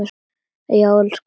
Já, elsku Engifer minn.